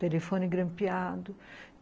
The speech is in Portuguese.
Telefone grampeado.